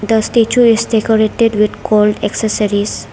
The statue is decorated with gold accessories.